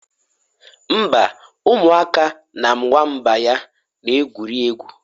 Mba, ụmụaka na nwamba ya na-egwuri egwu